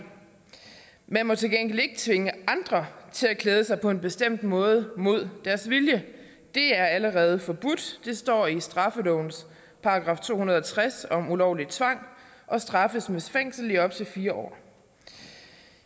man må til gengæld ikke tvinge andre til at klæde sig på en bestemt måde mod deres vilje det er allerede forbudt det står i straffelovens § to hundrede og tres om ulovlig tvang og straffes med fængsel i op til fire år